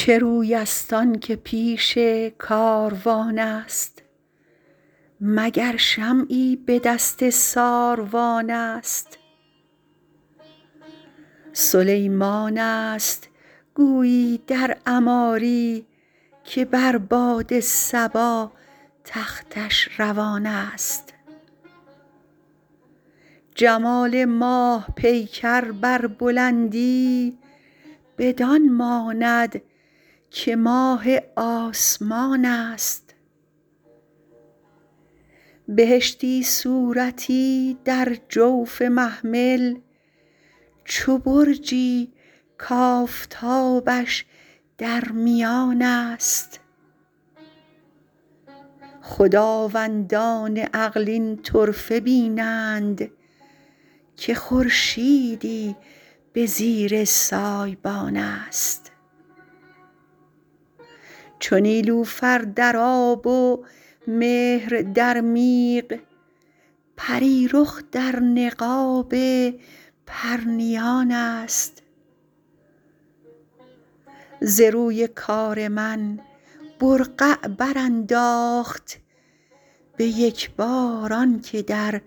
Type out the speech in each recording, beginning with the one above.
چه روی است آن که پیش کاروان است مگر شمعی به دست ساروان است سلیمان است گویی در عماری که بر باد صبا تختش روان است جمال ماه پیکر بر بلندی بدان ماند که ماه آسمان است بهشتی صورتی در جوف محمل چو برجی کآفتابش در میان است خداوندان عقل این طرفه بینند که خورشیدی به زیر سایبان است چو نیلوفر در آب و مهر در میغ پری رخ در نقاب پرنیان است ز روی کار من برقع برانداخت به یک بار آن که در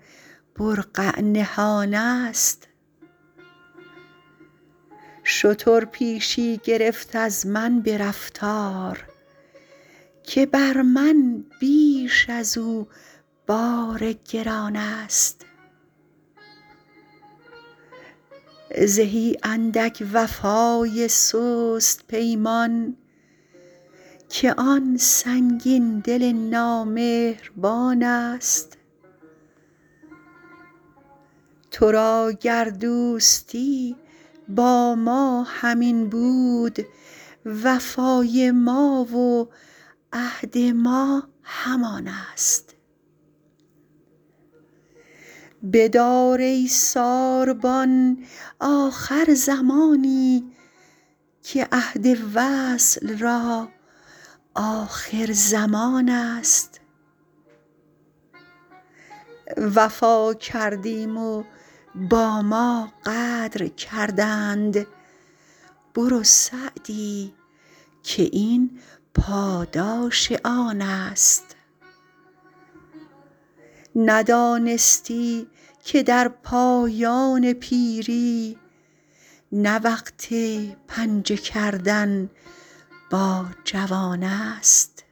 برقع نهان است شتر پیشی گرفت از من به رفتار که بر من بیش از او بار گران است زهی اندک وفای سست پیمان که آن سنگین دل نامهربان است تو را گر دوستی با ما همین بود وفای ما و عهد ما همان است بدار ای ساربان آخر زمانی که عهد وصل را آخرزمان است وفا کردیم و با ما غدر کردند برو سعدی که این پاداش آن است ندانستی که در پایان پیری نه وقت پنجه کردن با جوان است